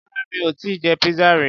Rárá mi ò tíì jẹ pizza rí.